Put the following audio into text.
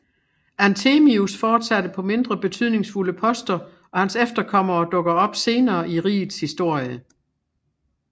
Anthemius fortsatte på mindre betydningsfulde poster og hans efterkommere dukker op senere i rigets historie